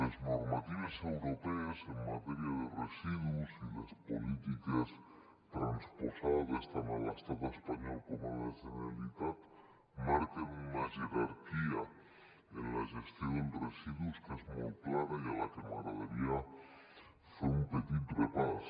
les normatives europees en matèria de residus i les polítiques transposades tant a l’estat espanyol com a la generalitat marquen una jerarquia en la gestió de residus que és molt clara i a la que m’agradaria fer un petit repàs